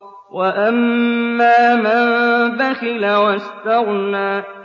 وَأَمَّا مَن بَخِلَ وَاسْتَغْنَىٰ